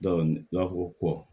u b'a fɔ ko kɔ